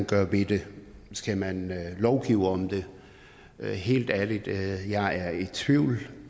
gøre ved det skal man lovgive om det helt ærligt jeg er i tvivl